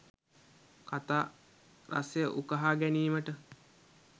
කතා රසය උකහා ගැනීමට